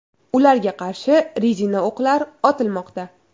Ularga qarshi rezina o‘qlar otilmoqda.